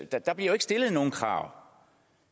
der bliver jo ikke stillet nogen krav